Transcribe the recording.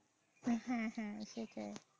হ্যা হ্যাঁ সেটাই।